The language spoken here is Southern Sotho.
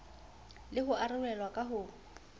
le ho arolelwa ka ho